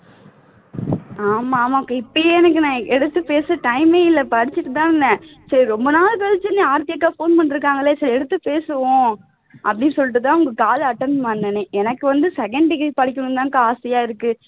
ஆமா ஆமாக்கா இப்பயே எனக்கு நான் எடுத்து பேச time ஏ இல்ல படிச்சிட்டு தான் இருந்தேன் சரி ரொம்ப நாள் கழிச்சு ஆர்த்தி அக்கா போன் பண்ணி இருக்காங்களே சரி எடுத்து பேசுவோம் அப்படின்னு சொல்லிட்டு தான் உங்க call attend பண்ணனே எனக்கு வந்து second degree படிக்கணும்னு தான் அக்கா ஆசையா இருக்கு